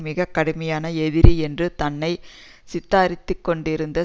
மிக கடுமையான எதிரி என்று தன்னை சித்தரித்துக்கொண்டிருக்கிறார்